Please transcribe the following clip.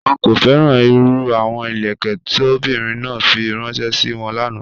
Wọ́n kò fẹ́ràn irú àwọn ilẹ̀kẹ̀ tó ọ̀bìnrin náà fí ránṣẹ̀ sí wọ́n lána.